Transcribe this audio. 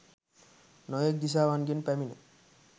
නොයෙක් දිසාවන්ගෙන් පැමිණ